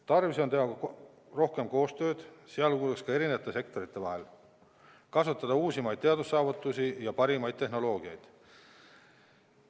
Tarvis on teha rohkem koostööd, sh eri sektorite vahel, kasutada uusimaid teadussaavutusi ja parimaid tehnoloogiaid.